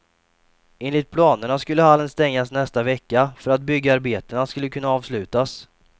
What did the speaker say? Enligt planerna skulle hallen stängas nästa vecka, för att byggarbetena skulle kunna avslutas.